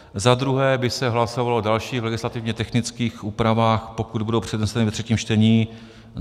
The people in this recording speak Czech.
Za druhé by se hlasovalo o dalších legislativně technických úpravách, pokud budou předneseny ve třetím čtení.